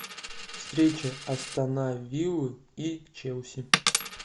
встреча астон виллы и челси